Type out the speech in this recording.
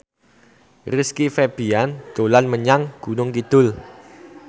Rizky Febian dolan menyang Gunung Kidul